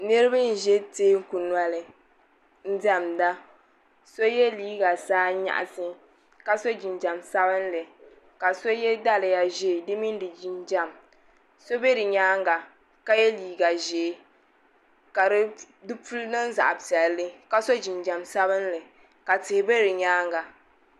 Niriba n ʒɛ teeku noli m diɛmda so ye liiga saanyaɣasi ka so jinjiɛm sabinli ka so ye daliya ʒee di mini di jinjiɛm so be di nyaanga ka ye liiga ʒee ka di puli niŋ zaɣa piɛlli ka so jinjiɛm sabinli ka tihi be di nyaanga.